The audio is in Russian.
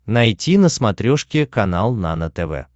найти на смотрешке канал нано тв